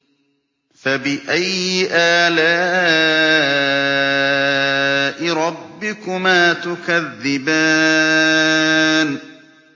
فَبِأَيِّ آلَاءِ رَبِّكُمَا تُكَذِّبَانِ